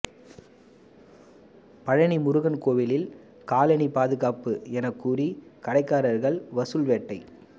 பழநி முருகன் கோயிலில் காலணி பாதுகாப்பு எனக்கூறி கடைக்காரர்கள் வசூல் வேட்டை